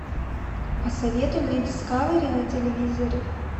посоветуй мне дискавери на телевизоре